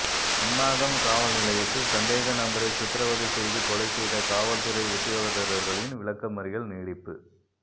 சுன்னாகம் காவல்நிலையத்தில் சந்தேக நபரை சித்திரவதை செய்து கொலை செய்த காவல்துறை உத்தியோகத்தர்களின் விளக்கமறியல் நீடிப்பு